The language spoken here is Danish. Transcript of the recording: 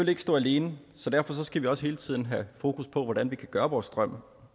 ikke stå alene så derfor skal vi også hele tiden have fokus på hvordan vi kan gøre vores strøm